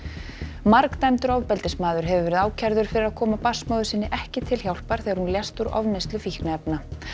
margdæmdur ofbeldismaður hefur verið ákærður fyrir að koma barnsmóður sinni ekki til hjálpar þegar hún lést úr ofneyslu fíkniefna